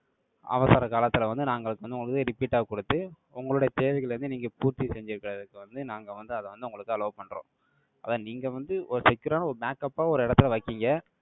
அவசர காலத்துல வந்து, நாங்க வந்து, உங்களுக்கு, repeat ஆ குடுத்து, உங்களுடைய தேவைகளை வந்து, நீங்க, பூர்த்தி செஞ்சுக்கறதுக்கு வந்து, நாங்க வந்து, அதை வந்து, உங்களுக்கு, allow பண்றோம் அதான், நீங்க வந்து, ஒரு secure ஆ, ஒரு backup ஆ, ஒரு இடத்துல வைக்கீங்க.